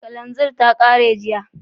Kananzir ta kare jiya